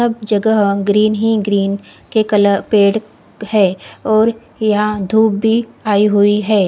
अब जगह ग्रीन ही ग्रीन कलर के पेड है और यहा धुप भी आई हुई है।